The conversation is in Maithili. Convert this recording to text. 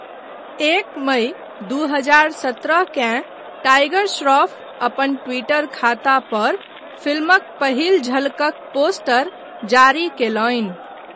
एक मइ दू हजार सत्रहकेँ टाइगर श्रॉफ अपन ट्विटर खाता पर फिल्मक पहिल झलकक पोस्टर जारी कयलनि।